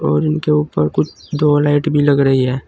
और इनके ऊपर कुछ दो लाइट भी लग रही है।